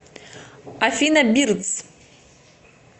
афина бирдс